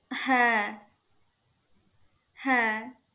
হ্যা হ্যা